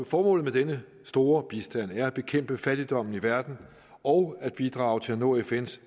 formålet med denne store bistand er at bekæmpe fattigdommen i verden og at bidrage til at nå fns